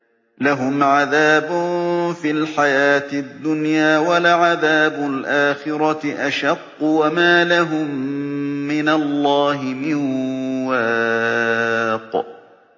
لَّهُمْ عَذَابٌ فِي الْحَيَاةِ الدُّنْيَا ۖ وَلَعَذَابُ الْآخِرَةِ أَشَقُّ ۖ وَمَا لَهُم مِّنَ اللَّهِ مِن وَاقٍ